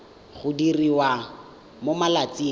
go diriwa mo malatsing a